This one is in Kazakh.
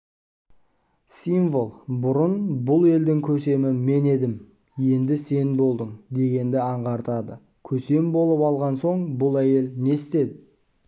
символ бұрын бұл елдің көсемі мен едім енді сен болдың дегенді аңғартады көсем болып алған соң бұл әйел не істей